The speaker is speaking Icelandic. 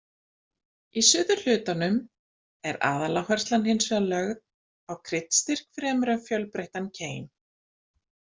Í suðurhlutanum er aðaláherslan hins vegar lögð á kryddstyrk fremur en fjölbreyttan keim.